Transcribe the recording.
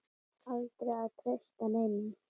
Aldrei að treysta neinum.